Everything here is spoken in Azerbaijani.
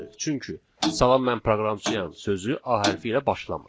Çünki salam mən proqramçıyam sözü A hərfi ilə başlamır.